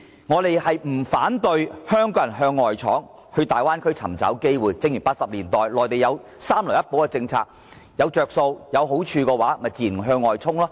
我們並不反對香港向外闖，到大灣區尋找機會，正如內地在1980年代提供"三來一補"的政策，如果有"着數"和好處的話，香港人自然會向外衝。